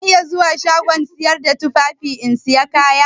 Zan iya zuwa shagon sayar da tufafi in saya kaya?